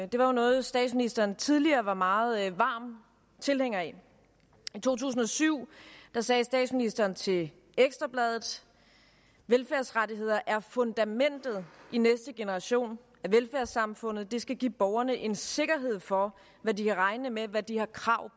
det var noget statsministeren tidligere var meget varm tilhænger af i to tusind og syv sagde statsministeren til ekstra bladet velfærdsrettigheder er fundamentet i næste generation af velfærdssamfundet det skal give borgerne en sikkerhed for hvad de kan regne med hvad de har krav